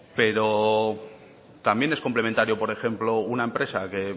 pero también es complementario por ejemplo una empresa que